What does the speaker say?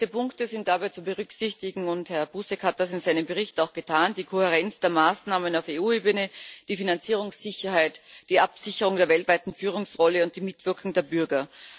Als wichtigste Punkte sind dabei zu berücksichtigen Herr Buzek hat das in seinem Bericht auch getan die Kohärenz der Maßnahmen auf EU Ebene, die Finanzierungssicherheit, die Absicherung der weltweiten Führungsrolle und die Mitwirkung der Bürger.